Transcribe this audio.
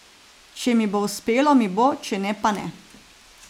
Če mi bo uspelo, mi bo, če ne pa ne.